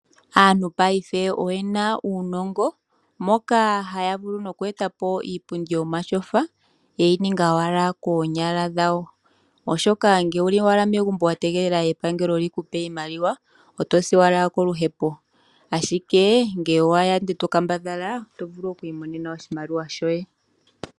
Aantu payife oyena uunongo moka haya vulu no ku eta po iipundi yoomatyofa yeyi ninga owala koonyala dhawo, oshoka ngele owuli owala megumbo wa tegelela epangelo lyikupe iimaliwa otosi owala koluhepo, ashike ngele owaya ndele tokambadhala totvulu oku imonena oshimaliwa shoye.